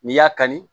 N'i y'a kanu